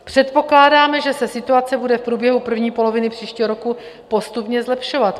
Předpokládáme, že se situace bude v průběhu první poloviny příštího roku postupně zlepšovat.